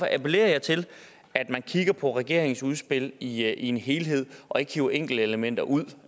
appellerer jeg til at man kigger på regeringens udspil i en helhed og ikke hiver enkeltelementer ud